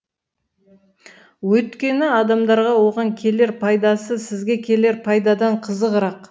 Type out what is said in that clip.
өйіткені адамдарға оған келер пайдасы сізге келер пайдадан қызығырақ